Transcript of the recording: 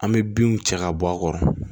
An bɛ binw cɛ ka bɔ a kɔrɔ